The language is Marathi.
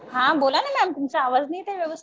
हा बोला ना मॅम. तुमचा आवाज नाही येत आहे व्यवस्थित.